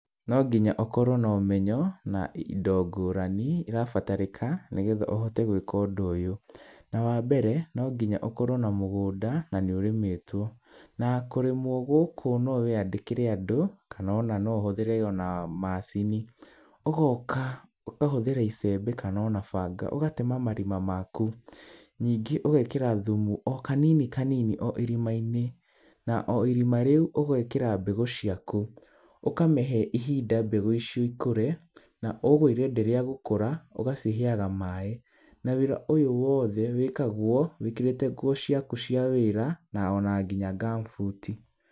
No nginya ũkorwo na ũmenyo na indo ngũrani irabatarĩka nĩgetha ũhote gwĩka ũndũ ũyũ. Na wambere no nginya ũkorwo na mũgũnda na nĩ ũrĩmĩtwo. Na kũrĩmwo gũkũ nowe wĩandĩkĩre andũ kana ona no ũhũthĩre ona macini. Ũgoka ũkahũthĩra icembe kana ona banga ũgatema marima maku. Nyingĩ ũgekĩra thumu o kanini kanini o irima-inĩ na irima rĩu ũgekĩra mbegũ ciaku. Ũkamĩhe ihinda mbegũ icio ikũre na ũguo irenderea gũkũra ũgaciheaga maaĩ. Na wĩra ũyũ wothe wĩkagwo wĩkĩrĩte nguo ciaku cia wĩra na ona nginya gumboots.